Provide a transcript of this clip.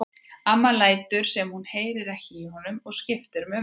Amma lætur sem hún heyri ekki í honum og skiptir um umræðuefni.